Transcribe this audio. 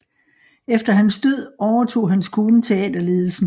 Efter hans død overtog hans kone teaterledelsen